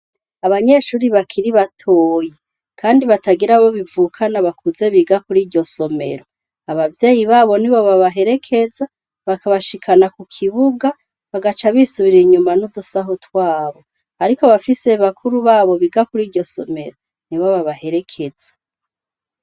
Abanyeshuri bakiri batoyi kandi batagira abo bivukana bakuze biga kuriryo somero abavyeyi babo nibo babaherekeza bakabashikana ku kibuga bagaca bisubirira inyuma n'udusaho twabo ariko abafise bakuru babo biga kuriryo somero nibo babaherekeza.